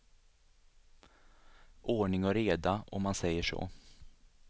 Ordning och reda, om man säger så.